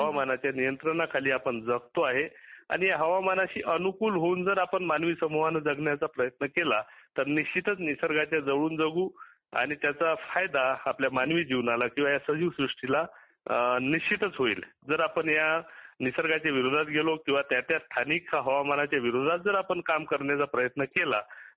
हवामानाच्या नियंत्रा खाली जगतो आहे आणि हवामानाशी अनुकूल होऊन जर आपण मांनवी समूहाने जगण्याचा प्रयत्न केला तर निशचित निसर्गाच्या जवळून जगू आणि त्याचा फायदा आपल्या मानवी जीवनाला किंवा सजीव सृष्टीला निशचित होईल जर आपण ह्या निसर्गाच्या विरोधात गेलो किंवा त्या त्या स्थानिक हवामानाच्या विरोधात जर आपण काम करण्याचा प्रयत्न केला